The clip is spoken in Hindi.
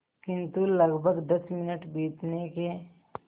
किंतु लगभग दस मिनट बीतने के